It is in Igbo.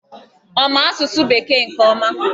Ọ ma asụsụ Bekee nke ọma?